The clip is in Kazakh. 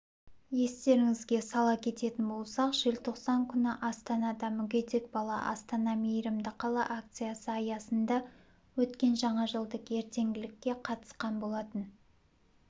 естеріңізге сала кететін болсақ желтоқсан күні астанада мүгедек бала астана мейірімді қала акциясы аясында өткен жаңа жылдық ертеңгілікке қатысқан болатын